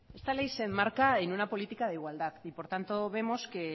esta ley se enmarca en una política de igualdad y por tanto vemos que